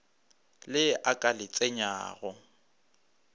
le a ka le tsenyang